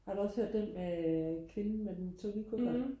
har du også hørt den med øh kvinden med den tunge kuffert?